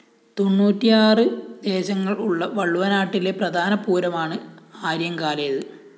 തെണ്ണൂറ്റിയാറ് ദേശങ്ങള്‍ ഉള്ള വള്ളുവനാട്ടിലെ പ്രധാന പൂരമാണ് ആര്യങ്കാലേത്